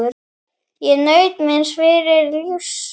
Ég naut míns fyrra lífs.